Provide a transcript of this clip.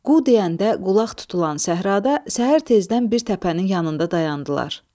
Qu deyəndə qulaq tutulan səhrada səhər tezdən bir təpənin yanında dayandılar.